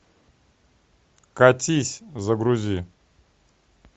катись загрузи